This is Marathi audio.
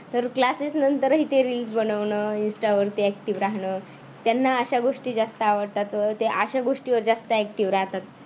तर classes नंतरही ते reels बनवण insta वरती active राहण. त्यांना अशा गोष्टी जास्त आवडतात. अह ते अशा गोष्टीवर जास्त active राहतात.